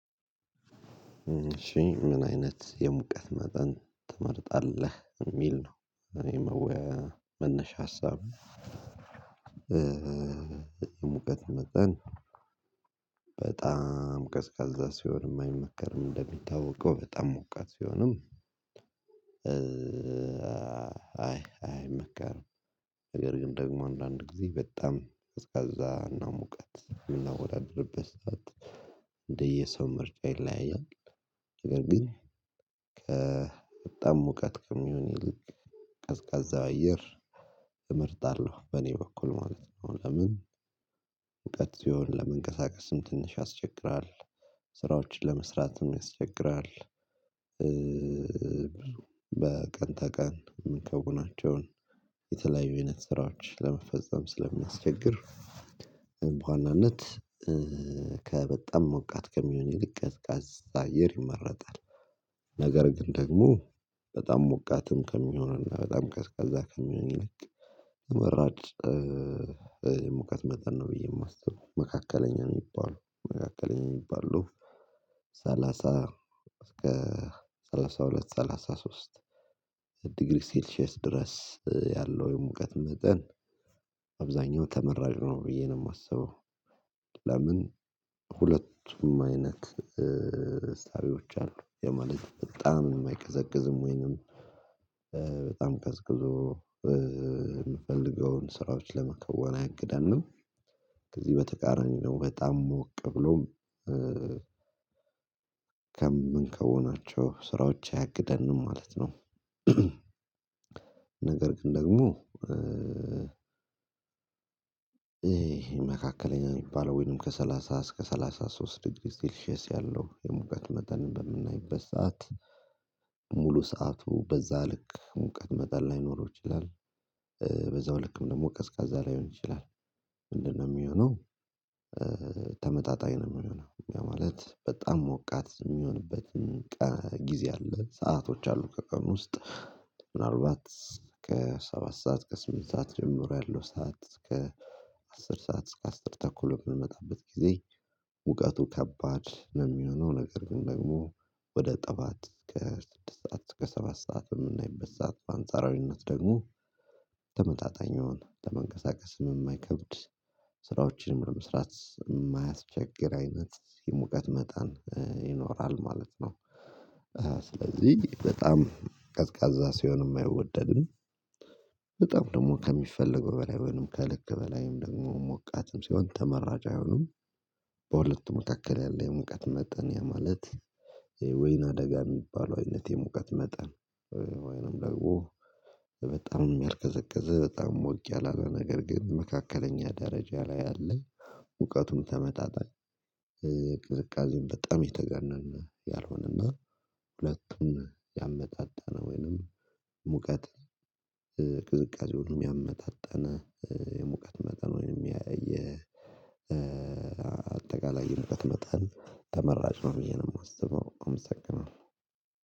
ምን አይነት የሙቀት መጠን ትመርጣለህ የሚል ነው እኔ መወያያ መነሻ ሀሳብ ሙቀት መጠን በጣም ቀዝቃዛ ሲሆን የማይመከርም እንደሚታወቀው በጣም ሞቃት ሲሆንም አይ አይመከርም ነገር ግን ደግሞ አንዳንድ ጊዜ በጣም ቀዝቃዛ እና ሙቀት የምናወዳድርበት ሰዓት እንደየሰው ምርጫ ይለያያል ነገር ግን በጣም ሙቀት ከሚሆን ይልቅ ቀዝቃዛ አየር እመርጣለሁ በእኔ በኩል ማለት ነው። ለምን? ሙቀት ሲሆን ለመንቀሳቀስም ትንሽ ያስቸግራል ስራዎችን ለመስራትም ያስቸግራል። በቀን ተቀን ምንከውናቸውን የተለያዩ አይነት ስራዎች ለመፈጸም ስለሚያስቸግር በዋናነት ከበጣም ሞቃት ከሚሆን ይልቅ ቀዝቃዛ አየር ይመረጣል ነገር ግን ደግሞ በጣም ሞቃትም ከሚሆንና በጣም ቀዝቃዛ ይልቅ መራጭ ሙቀት መጠን ነው ብዬ የማስበው መካከለኛ የሚባለው መካከለኛ የሚባለው ሰላሳ እስከ ሰላሳሁለት፣ ሰላሳሶስት ዲግሪ ሴልሼስ ድረስ ያለው የሙቀት መጠን አብዛኛው ተመራጭ ነው ብዬ ነው። የማስበው ለምን ሁለቱም አይነት እሳቤዎች አሉ ያ ማለት በጣም አይቀዘቅዝም ወይንም በጣም ቀዝቅዞ የምፈልገውን ስራዎች ለመከወን አያግደንም። ከዚህ በተቃራኒው ነው በጣም ሞቅ ብሎም ከምንከውናቸው ስራዎች አያግደንም ማለት ነው። ነገር ግን ደግሞ መካከለኛ የሚባለው ወይንም ከሰላሳ እስከ ሰላሳ ሶስት ሊግሪ ሴልሺየስ ያለው የሙቀት መጠን በምናይበት ሰዓት ሙሉ ሰዓቱ በዛ ልክ ሙቀት መጠን ላይኖረው ይችላል። በዛው ልክም ደግሞ ቀዝቃዛ ላይሆን ይችላል። ምንድነው የሚሆነው ተመጣጣኝ ነው የሚሆነው። ያ ማለት በጣም ሞቃት የሚሆንበትን ቀ ጊዜ አለ ሰአቶች አሉ። ከቀን ውስጥ ምናልባት ከሰባት ሰዓት ከስምንት ሰዓት ጀምሮ ያለው ሰዓት ከአስር ሰዓት እስከ አስር ተኩል የምንመጣበት ጊዜ ሙቀቱ ከባድ ነው የሚሆነው። ነገር ግን ደግሞ ወደ ጠዋት እስከ ስድስት ሰዓት እስከ ሰባት ሰዓት በምናይበት ሰዓት በአንጻራዊነት ደግሞ ተመጣጣኝ የሆነ ለመንቀሳቀስም የማይከብድ ስራዎችን ለመስራት የማያቸግር አይነት የሙቀት መጠን ይኖራል ማለት ነው። ስለዚህ በጣም ቀዝቃዛ ሲሆን አይወደድም። በጣም ደግሞ ከሚፈለገው በላይ ወይም ከልክ በላይም ደግሞ ሞቃትም ሲሆን ተመራጭ አይሆኑም። በሁለቱ መካከል ያለ የሙቀት መጠን ያ ማለት ወይን አደጋ የሚባለው አይነት የሙቀት መጠን ወይንም ደግሞ በጣም ያልቀዘቀዘ በጣም ሞቅ ያላለ ነገር ግን መካከለኛ ደረጃ ላይ ያለ ሙቀቱም ተመጣጣኝ ቅዝቃዜውም በጣም የተጋነነ ያልሆነና ሁለቱን ያመጣጣነ ወይንም ሙቀት ቅዝቃዜውንም ያመጣጠነ የሙቀት መጠን ወይንም የ አጠቃላይ የሙቀት መጠን ተመራጭ ነው ብዬ ነው የማስበው አመሰግናለሁ።